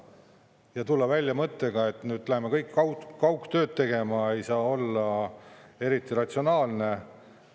Ja tulla välja mõttega, et nüüd läheme kõik kaugtööd tegema, ei saa olla eriti ratsionaalne.